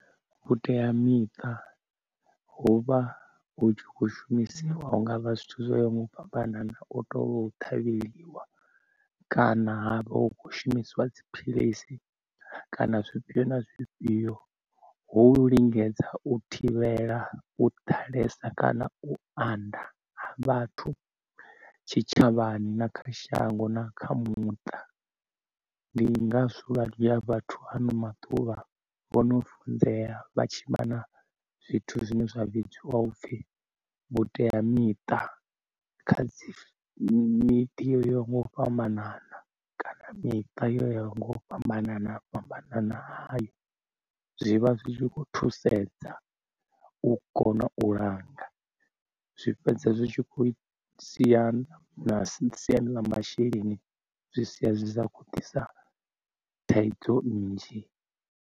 Vhuteamiṱa huvha hu tshi khou shumisiwa hungavha zwithu zwa yo mubanana o to ṱhavheliwa kana ha vha hu kho shumisiwa dziphilisi kana zwifhio na zwifhio. Hu u lingedza u thivhela u ḓalesa kana u anda ha vhathu tshitshavhani na kha shango na kha muṱa, ndi ngazwo vhunzhia ha vhathu ano maḓuvha vho no funzea vha tshi vha na zwithu zwine zwa vhidziwa upfi vhuteamiṱa kha miḓi yo yaho nga u fhambanana, kana miṱa yavho nga u fhambana fhambana hayo zwivha zwi tshi khou thusedza u kona u langa. Zwi fhedza zwi tshi khou sia na siani ḽa masheleni zwi sia zwi sa khou ḓisa thaidzo nnzhi.